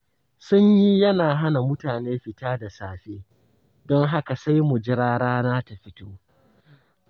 Sanyi yana hana mutane fita da safe, don haka sai mu jira rana ta fito.